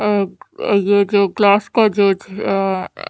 अ ये जो ग्लास का जज आ --